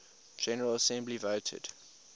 general assembly voted